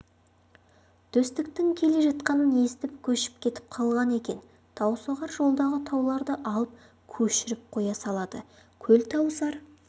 төстіктің келе жатқанын естіп көшіп кетіп қалған екен таусоғар жолдағы тауларды алып көшіріп қоя салады көлтауысар